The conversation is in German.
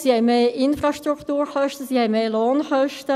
sie haben mehr Infrastrukturkosten, sie haben mehr Lohnkosten.